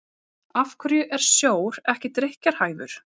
Af hverju er sjór ekki drykkjarhæfur?